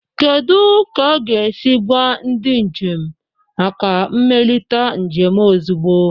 Kedu ka a ga-esi gwa ndị njem maka mmelite njem ozugbo?